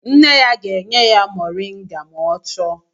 Nne ya ga-enye ya moringa ma ọ chọọ